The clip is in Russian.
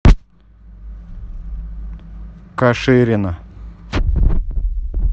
каширина